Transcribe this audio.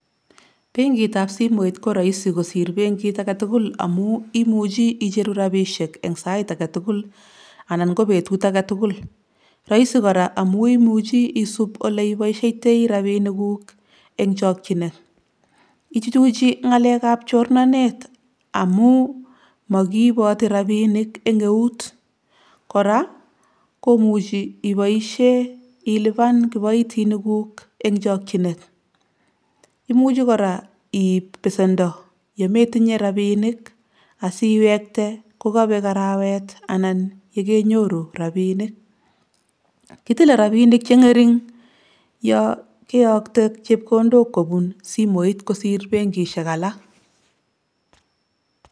Benkitab simoit koraisi kosir bengit agetugul amu imuji igeru robishiek eng sait agetugul anan ko betut agetugul. Raisi kora amuu imuji isup oleboishetei robinikguk eng chokchinet. Ichuchuji ng'alekab chornanet amuu makiiboti robinik eng eut. Kora komuji iboishe ilipan kiboitinikguk eng chokjinet imuji kora iib besendo yemetinye robinik asiwekte kokabek arawet ana yekenyoru robinik. Kitile robinik che ng'ering' ya keyakte chepkondok kobun simoit kosir benkishek alak.